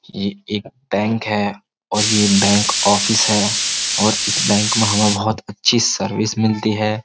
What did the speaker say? ये एक बैंक है और यह बैंक ऑफिस है और इस बैंक में हमें बहुत अच्छी सर्विस मिलती है।